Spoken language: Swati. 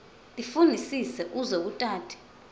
tifunisise uze utati